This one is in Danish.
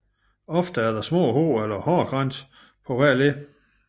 Ofte er der små hår eller hårkranse på hvert led